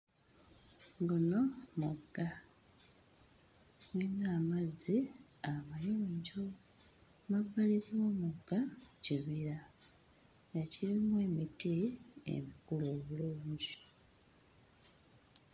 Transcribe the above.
Guno mugga nnina amazzi amayonjo mmabbali g'omugga kibira ekirimu emiti emikulu obulungi.